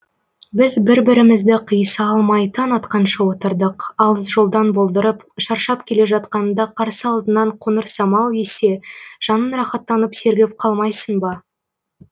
біз бір бірімізді қиыса алмай таң атқанша отырдық алыс жолдан болдырып шаршап келе жатқаныңда қарсы алдыңнан қоңыр самал ессе жаның рақаттанып сергіп қалмайсың ба